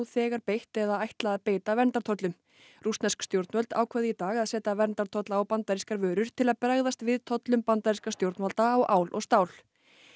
þegar beitt eða ætla að beita verndartollum rússnesk stjórnvöld ákváðu í dag að setja verndartolla á bandarískar vörur til að bregðast við tollum bandarískra stjórnvalda á ál og stál